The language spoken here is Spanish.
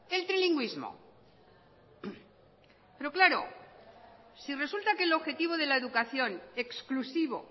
el trilingüísmo pero claro si resulta que el objetivo de la educación exclusivo